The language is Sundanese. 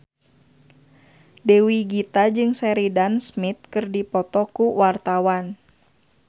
Dewi Gita jeung Sheridan Smith keur dipoto ku wartawan